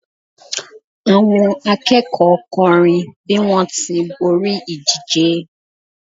àwọn akẹ́kọ̀ọ́ kọrin bi wọn ti b'ori ìdíje